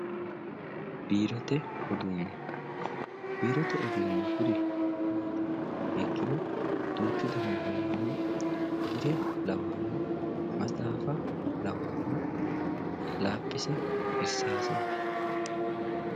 Biirote uduune biirote uduunni kuri maati yiniha ikkiro duuchu dani heeranno biire lawayori maxaafa lawayori, laaphise irisase